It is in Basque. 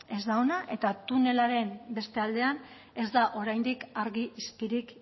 ez da ona eta tunelaren beste aldean ez da oraindik argi izpirik